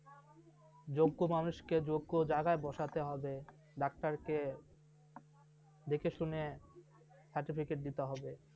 যোগ্য মানুষকে যোগ্য জায়গায় বসাতে হবে doctor কে দেখেশুনে certificate দিতে হবে ।